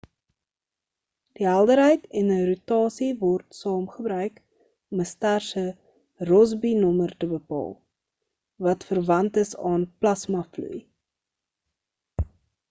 die helderheid en rotasie word saam gebruik om 'n ster se rossby nommer te bepaal wat verwant is aan plasma vloei